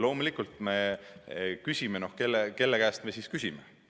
Loomulikult, kelle käest me siis küsime?